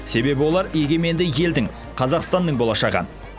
себебі олар егеменді елдің қазақстанның болашағы